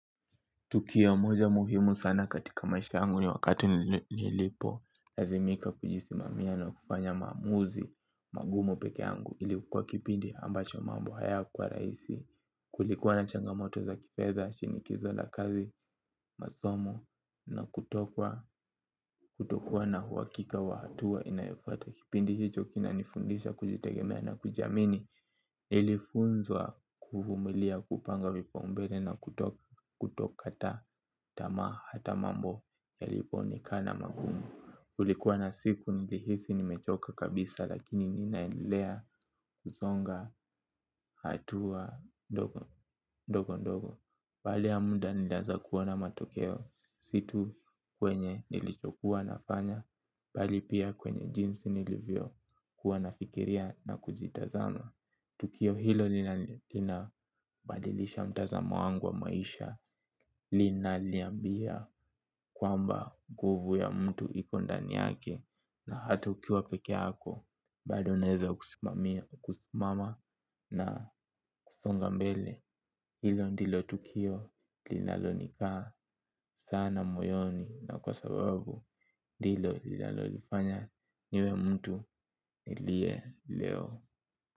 Tukio moja muhimu sana katika maisha yangu ni wakati nilipolazimika kujisimamia na kufanya maamuzi magumu peke yangu ilikuwa kipindi ambacho mambo hayakuwa rahisi kulikuwa na changamoto za kifedha, shinikizo la kazi, masomo na kutokuwa na uhakika wa hatua inayofuata. Kipindi hicho kinanifundisha kujitegemea na kujiamini. Nilifunzwa kuvumilia kupanga vipaumbele na kutokakata tamaa hata mambo yalipoonekana magumu. Kulikuwa na siku nilihisi nimechoka kabisa lakini ninaendelea kusonga hatua ndogo ndogo. Pali ya muda nilianza kuona matokeo si tu kwenye nilichokuwa nafanya bali pia kwenye jinsi nilivyokuwa nafikiria na kuzitazama. Tukio hilo linabadilisha mtazamo wangu wa maisha linaliambia kwamba nguvu ya mtu iko ndani yake na hata ukiwa peke yako bado naeza kusimama na kusonga mbele. Hilo ndilo tukio linalonikaa sana moyoni. Na kwa sababu ndilo lilalolifanya niwe mtu niliye leo.